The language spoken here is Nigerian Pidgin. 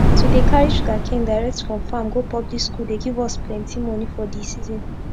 to dey carry sugarcane direct from farm go public school dey give us plenti moni for d season